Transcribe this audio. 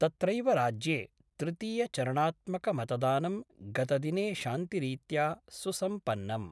तत्रैव राज्ये तृतीयचरणात्मकमतदानं गतदिने शान्तिरीत्या सुसम्पन्नम्।